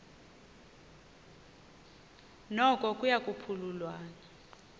noko kuya phululwana